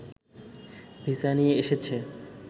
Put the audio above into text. visa নিয়ে এসেছে